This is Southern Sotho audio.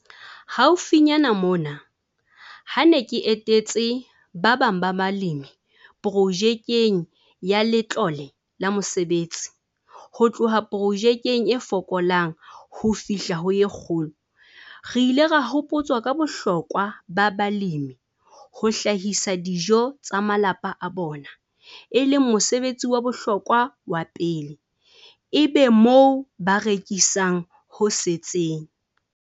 Haufinyana mona, ha ke ne ke etetse ba bang ba balemi projekeng ya Letlole la Mesebetsi ho tloha projekeng e Fokolang ho fihla ho e Kgolo, re ile ra hopotswa ka bohlokwa ba balemi ho hlahisa dijo tsa malapa a bona e leng mosebetsi wa bohlokwa wa pele, ebe moo ba rekisang ho setseng.